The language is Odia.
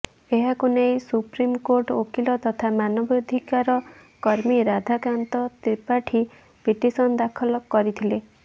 ଏହାକୁ ନେଇ ସୁପ୍ରିମ୍ କୋର୍ଟ ଓକିଲ ତଥା ମାନବାଧିକାର କର୍ମୀ ରାଧାକାନ୍ତ ତ୍ରିପାଠୀ ପିଟିସନ୍ ଦାଖଲ କରିଥିଲେ